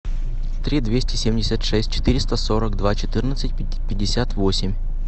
три двести семьдесят шесть четыреста сорок два четырнадцать пятьдесят восемь